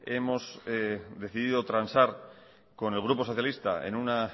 hemos decidido transar con el grupo socialista en una